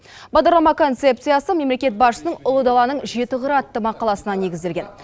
бағдарлама концепциясы мемлекет басшысының ұлы даланың жеті қыры атты мақаласына негізделген